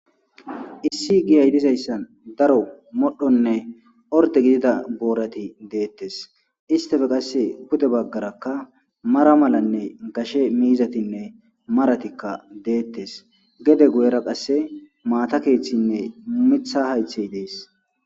issi giya hidhizayssan daro modhonne orde gidida boorati deettes istafe qasse gude baggarakka mara malanne gashe miizatinne maratikka deettes gede guyera qasse maata keeththinne mumitha haythey dees